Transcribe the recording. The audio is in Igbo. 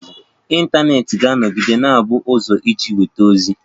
Ịntanetị ga-anọgide na-abụ ụzọ iji nweta ozi.